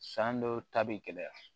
San dɔw ta be gɛlɛya